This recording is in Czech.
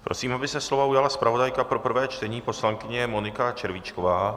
Prosím, aby se slova ujala zpravodajka pro prvé čtení poslankyně Monika Červíčková.